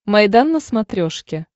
майдан на смотрешке